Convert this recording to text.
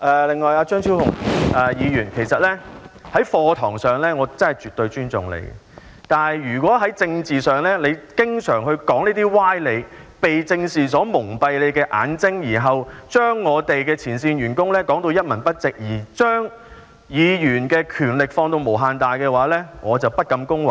另一方面，其實在課堂上，我真的絕對尊重張超雄議員，但在政治上，如果他經常說出這些歪理，被政治蒙蔽他的眼睛，然後將前線員工說到一文不值，並將議員的權力放到無限大，我則不敢恭維。